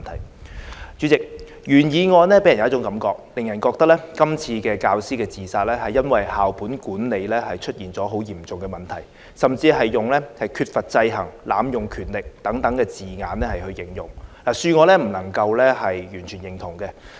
代理主席，原議案給人一種感覺，即這次教師自殺是因為校本管理出現很嚴重的問題，甚至用了"缺乏制衡"和"濫用權力"等字眼來形容，恕我不能完全認同。